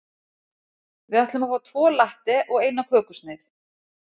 Við ætlum að fá tvo latte og eina kökusneið.